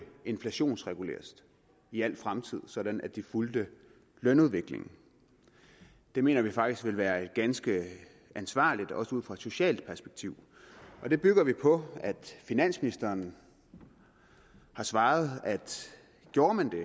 inflationsreguleres i al fremtid sådan at de fulgte lønudviklingen det mener vi faktisk vil være ganske ansvarligt også ud fra et socialt perspektiv det bygger vi på at finansministeren har svaret at gjorde man det